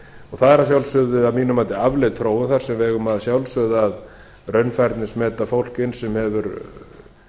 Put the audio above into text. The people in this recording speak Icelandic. það er að sjálfsögðu að mínu mati afleit þróun þar sem við eigum að sjálfsögðu að raunfærnismeta fólk inn sem hefur